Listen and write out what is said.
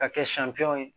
Ka kɛ siɲɛ kelen ye